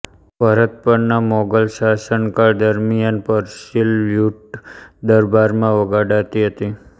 ભરત પરના મોગલ શાસનકાળ દરમ્યાન પર્શિય લ્યૂટ દરબારમાં વગાડાતી હતી